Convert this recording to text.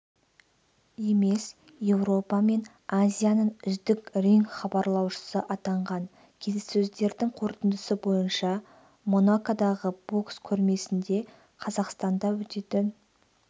емес еуропа мен азияның үздік ринг-хабарлаушысы атанған келіссөздердің қорытындысы бойынша монакодағы бокс көрмесінде қазақстанда өтетін